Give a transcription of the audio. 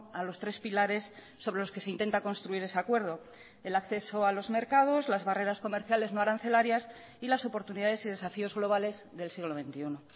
a los tres pilares sobre los que se intenta construir ese acuerdo el acceso a los mercados las barreras comerciales no arancelarias y las oportunidades y desafíos globales del siglo veintiuno